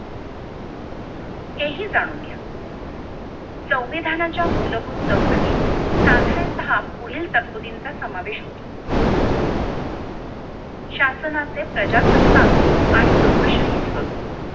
हे हि जाणून घ्या संविधानाच्या मूलभूत चौकटीत साधारणतः पुढील तरतुदींचा समावेश होतो शासनाचे प्रजासत्ताक आणि लोकशाही स्वरूप